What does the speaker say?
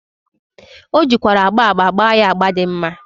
O jikwara agba agba gba ya agba di mma.